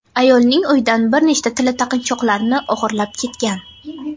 ayolning uyidan bir nechta tilla taqinchoqlarni o‘g‘irlab ketgan.